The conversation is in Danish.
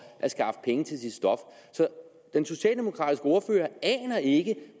at skaffe penge til sit stof så den socialdemokratiske ordfører aner ikke